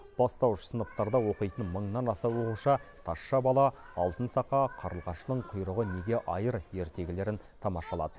бастауыш сыныптарда оқитын мыңнан аса оқушы тазша бала алтын сақа қарлығаштың құйрығы неге айыр ертегілерін тамашалады